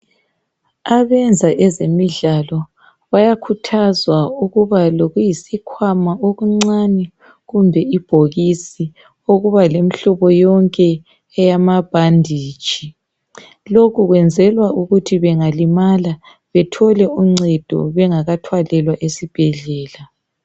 abenza ezemidlalo bayakhuthazwa ukubalokuyisikhwama okuncane kumbe ibhokisi okuba lemhlobo yonke eyamabhanditshi lokhu kwenzelwa ukuthi bengalimala bathole uncedo bengakathwalelwa esibhedlela